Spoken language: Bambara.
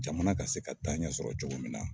Jamana ka se ka taa ɲɛ sɔrɔ cogo min na.